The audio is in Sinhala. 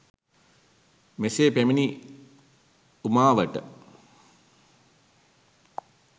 මෙ සේ පැමිණි උමාවට